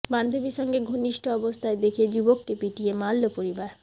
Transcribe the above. বান্ধবীর সঙ্গে ঘনিষ্ঠ অবস্থায় দেখে যুবককে পিটিয়ে মারল পরিবার